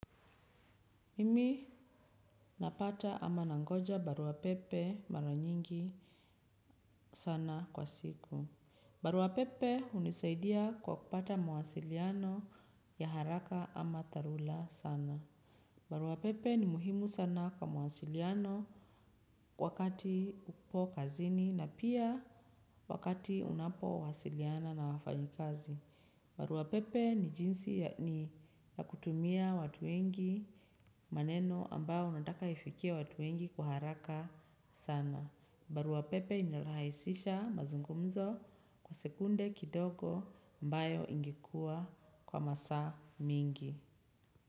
Mimi napata ama nangoja barua pepe mara nyingi sana kwa siku. Barua pepe hunisaidia kwa kupata mawasiliano ya haraka ama dharula sana. Baruapepe ni muhimu sana kwa mwasiliano wakati upo kazini na pia wakati unapo wasiliana na wafayikazi. Barua pepe ni jinsi ya kutumia watu wengi maneno ambayo unataka ifikie watu wengi kwa haraka sana. Barua pepe inarahaisisha mazungumzo kwa sekunde kidogo ambayo ingekuwa kwa masaa mingi.